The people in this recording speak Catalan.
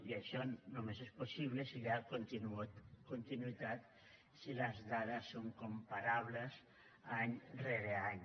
i això només és possible si hi ha continuïtat si les dades són comparables any rere any